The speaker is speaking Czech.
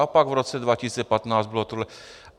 A pak v roce 2015 bylo tohle.